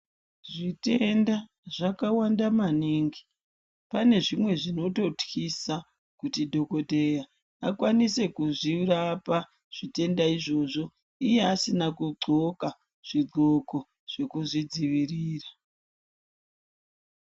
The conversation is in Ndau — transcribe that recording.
Zvitenda zvakawanda maningi. Pane zvimwe zvinototyisa kuti dhogodheya akwanise kuzvirapa zvitenda izvozvo iye asina kudhloka zvidhloko zvekuzvidziirira.